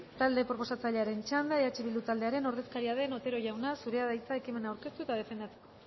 talde proposatzailearen txanda eh bildu taldearen ordezkaria den otero jauna zurea da hitza ekimena aurkeztu eta defendatzeko